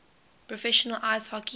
professional ice hockey